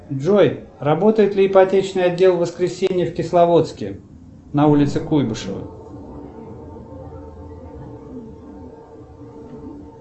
джой работает ли ипотечный отдел в воскресенье в кисловодске на улице куйбышева